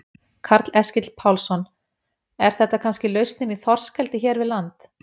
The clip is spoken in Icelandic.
Karl Eskil Pálsson: Er þetta kannski lausnin í þorskeldi hér við land?